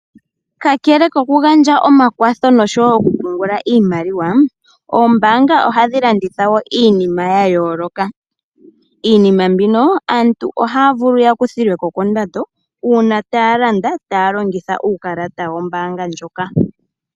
Kakele kokugandja omakwatho noshowo okupungula iimaliwa oombanga ohadhi landitha wo iinima ya yooloka. Iinima mbino aantu ohaya vulu ya kuthilweko kondando uuna taya landa taya longitha uukalata wombaanga ndjoka.